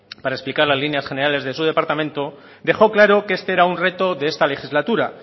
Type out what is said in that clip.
para explicar las líneas generales de su departamento dejó claro que este era un reto de esta legislatura